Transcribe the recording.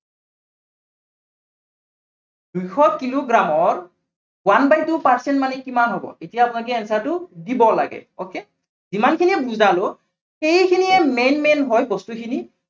দুইশ কিলোগ্ৰামৰ one by two percent মানে কিমান হব। এতিয়া আপোনালোকে answer টো দিব লাগে। okay যিমানখিনি বুজালো, সেইখিনিয়ে main main হৈ বস্তুখিনি